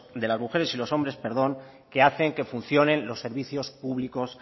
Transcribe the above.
de las mujeres y los hombres que hacen que funcionen los servicios públicos